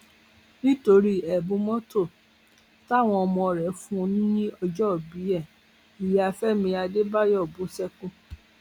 nítorí ẹbùn mọtò táwọn ọmọ rẹ fún un lọjọòbí ẹ ìyá fẹmi adébáyò bú sẹkún